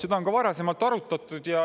Seda on varasemalt arutatud.